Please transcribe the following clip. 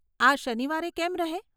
આ શનિવારે કેમ રહે?